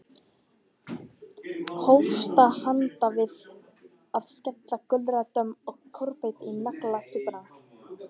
Hófst handa við að skera gulrætur og kúrbít í naglasúpuna.